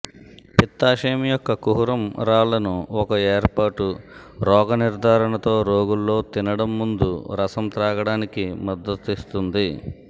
పిత్తాశయం యొక్క కుహరం రాళ్ళను ఒక ఏర్పాటు రోగ నిర్ధారణతో రోగుల్లో తినడం ముందు రసం త్రాగడానికి కి మద్దతిస్తుంది